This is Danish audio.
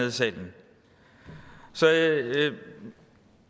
i salen så